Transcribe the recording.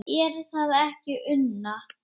Er það ekki Una?